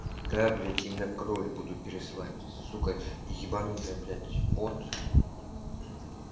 да блядь у меня кровь будут пересылать сука ебанутая блядь бот